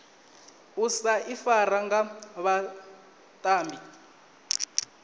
u sa ifara nga vhatambi